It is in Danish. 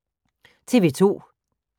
TV 2